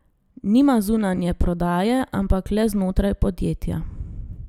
Nima zunanje prodaje, ampak le znotraj podjetja.